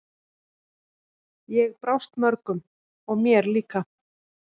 Ég brást mörgum og mér líka.